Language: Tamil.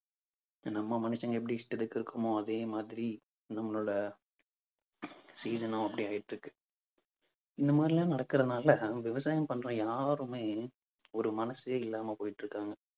நம்ம மனுஷங்க எப்படி இஷ்டத்துக்கு இருக்கோமோ அதே மாதிரி நம்மளோட season னும் அப்படி ஆயிட்டிருக்கு இந்த மாதிரி எல்லாம் நடக்கறதுனால விவசாயம் பண்ற யாருமே ஒரு மனசே இல்லாம போயிட்டிருக்காங்க.